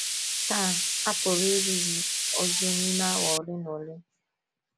Taa, a pụrụ ịrụzu ozu nime awa ole na ole.